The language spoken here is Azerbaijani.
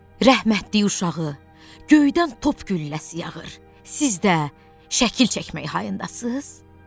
"Rəhmətliyi uşağı, göydən top gülləsi yağır, siz də şəkil çəkmək hayındasız?"